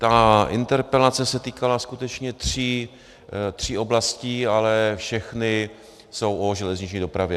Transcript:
Ta interpelace se týkala skutečně tří oblastí, ale všechny jsou o železniční dopravě.